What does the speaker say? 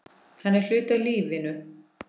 Hann er hluti af lífinu.